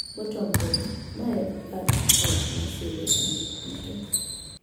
Bottom Board: Ma e bathe ot ma siro sanduk duto.